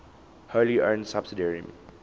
wholly owned subsidiary